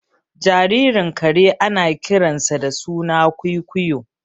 Jaririn kare ana kiransa da suna kwuikuyo